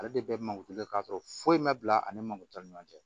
Ale de bɛ mankutule k'a sɔrɔ foyi ma bila ani magu ta ni ɲɔgɔn cɛ